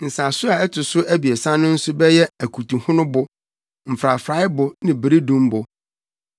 Nsaso a ɛto so abiɛsa no nso bɛyɛ akutuhonobo, mfrafraebo ne beredumbo.